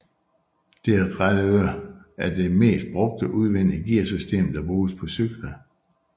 Derailleur er det mest brugte udvendige gearsystem der bruges på cykler